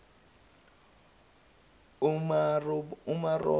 umaromo